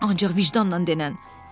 ancaq vicdanla denən.